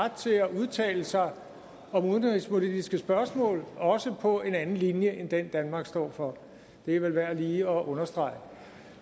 ret til at udtale sig om udenrigspolitiske spørgsmål også på en anden linje end den danmark står for det er vel værd lige at understrege